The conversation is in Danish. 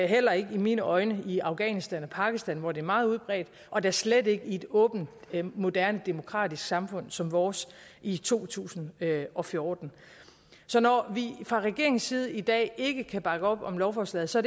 heller ikke i mine øjne i afghanistan og pakistan hvor det er meget udbredt og da slet ikke i et åbent moderne demokratisk samfund som vores i to tusind og fjorten så når vi fra regeringens side i dag ikke kan bakke op om lovforslaget så